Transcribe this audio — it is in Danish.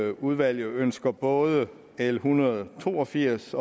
at udvalget ønsker både l en hundrede og to og firs